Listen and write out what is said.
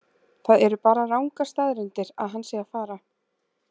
Það eru bara rangar staðreyndir að hann sé að fara.